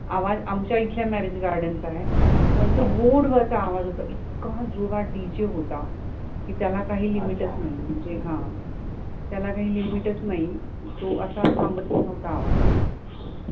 आवाज आमच्या इथल्या marriage garden चा आहे, पण तो road वरचा आवाज होता इतका जोरात DJ होता की त्याला काही limit च नाही म्हणजे हां त्याला काही limit च नाही तो असा थांबत पण नव्हता आवाज